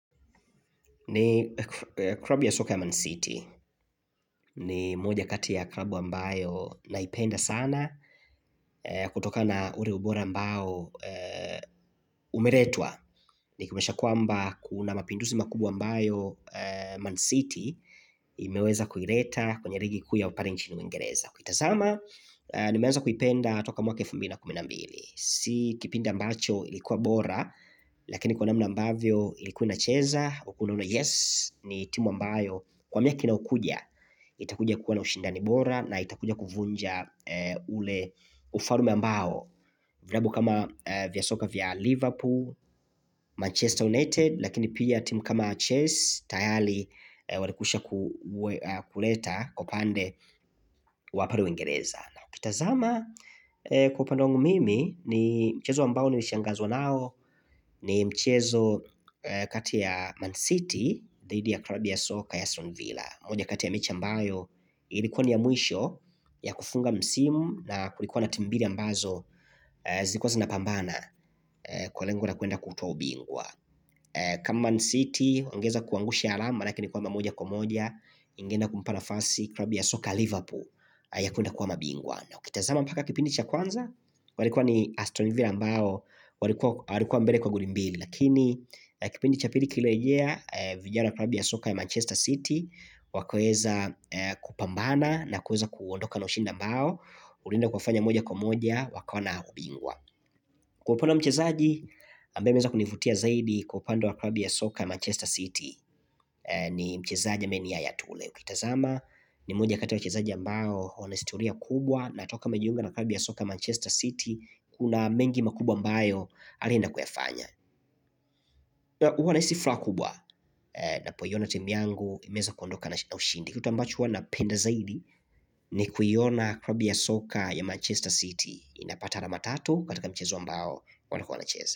Ni klabu ya soka ya Man City. Ni moja kati ya klabu ambayo naipenda sana. Kutokana ule ubora ambao umeletwa. Ni kumbushe kwamba kuna mapinduzi makubwa ambayo Man City imeweza kuleta kwenye ligi kuu ya pale nchini uingereza. Ukitazama, nimeanza kuipenda toka mwaka 2012 Si kipindi ambacho ilikuwa bora Lakini kwa namna ambavyo ilikuwa ina cheza Ulkuwa unaona yes, ni timu ambayo Kwa miaka inayokuja, itakuja kuwa na ushindani bora na itakuja kuvunja ule ufalme ambao Vilabu kama vyasoka vya Liverpool, Manchester United Lakini pia timu kama Chalse, tayari Walikwisha kuleta upande wapale uwingereza ukitazama kwa upande wangu mimi ni mchezo ambao nili shangazwa nao ni mchezo kati ya Man City dhidi ya klabu ya soka ya AStonville moja kati ya mechi ambayo ilikuwa ni ya mwisho ya kufunga msimu na kulikuwa na timu mbili ambazo zilikuwa zina pambana kwa lengo la kwenda kutwaa ubingwa kama Man City wangeweza kuangusha alama laki ni kuwa mamuja kumoja ingeenda kumpa nafasi klabu ya soka ya Liverpool ya kwenda kuwa mabingwa na ukitazama mpaka kipindi cha kwanza, walikuwa ni astonivira mbao, walikuwa mbele kwa goli mbili. Lakini, kipindi cha pili kilerea, vijana wa klabu ya soka ya Manchester City, wakaweza kupambana na kuweza kuondoka na ushinda mbao, ulienda kuwafanya moja kwa moja, wakoona ubingwa. Kwa upande mchezaji, ambaye ameweza kunivutia zaidi kwa upande wa klabu ya soka ya Manchester City, ni mchezaja ambae ni yayatule. Ukitazama ni moja kati ya wachezaji ambao wanaistoria kubwa na toka wamejiunga na klabu ya soka ya Manchester City Kuna mengi makubwa ambayo alienda kuyafanya huwa na hisifuraha kubwa na poiona timuyangu imeweza kuondoka na ushindi Kituambacho huwana penda zaidi ni kuiona klabu ya soka ya Manchester City inapata alama tatu katika mchezo ambao wanakua wanacheza.